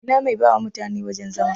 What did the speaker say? Ina mai bawa mutane wajan zama?